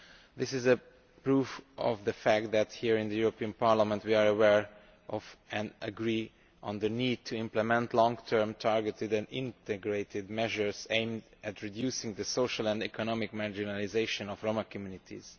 This is proof of the fact that here in the European Parliament we are aware of and agree on the need to implement long term targeted and integrated measures aimed at reducing the social and economic marginalisation of Roma communities.